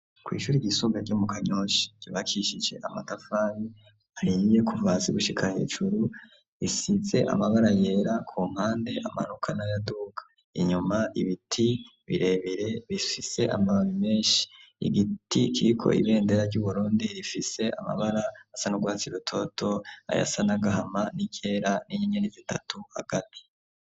Kwishure ryisumbuye ryo mu Kanyosha ryubakishije amatafari ahiye kuva hasi gushika hejuru, risize amabara yera kumpande amanuka n'ayaduga, inyuma ibiti birebire bifise amababi menshi, igiti kiriko ibendera ryuburundi rifise amabara asa n'urwatsi rutoto ayasa n'agahama, n'iryera ninyenyeri zitatu hagati.